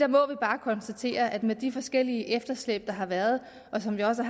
må bare konstatere at det med de forskellige efterslæb der har været og som vi også